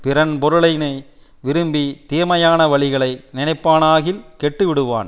பிறன் பொருளினை விரும்பி தீமையான வழிகளை நினைப்பானாகில் கெட்டு விடுவான்